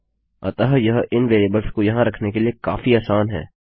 अतः यह इन वेरिएबल्स को यहाँ रखने के लिए काफी आसान है